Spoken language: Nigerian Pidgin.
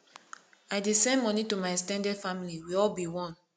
i dey send moni to my ex ten ded family we all be one